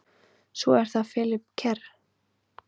Svo er það Philip Kerr.